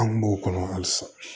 An kun b'o kɔnɔ halisa